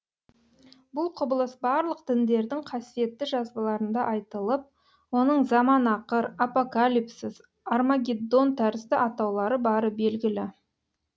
бұл құбылыс барлық діндердің қасиетті жазбаларында айтылып оның заманақыр апокалипсис армагеддон тәрізді атаулары бары белгілі